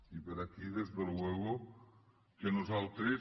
i per aquí per descomptat que nosaltres